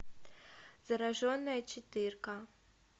зараженная четырка